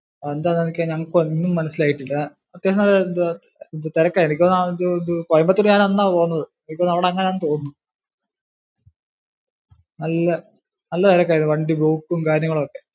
അതെന്താന്ന് ഞങ്ങൾക്കൊന്നും മനസ്സിൽ ആയിട്ടില്ല. കോയമ്പത്തൂർ ഞാൻ അന്നാ പോകുന്നത് എനിക്ക് തോന്നുന്നു അവിടെ അങ്ങനാണെന്നു തോന്നുന്നു. നല്ല~ നല്ല തിരക്കായിരുന്നു വണ്ടി പോക്കും കാര്യങ്ങളും ഒക്കെ